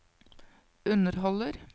underholder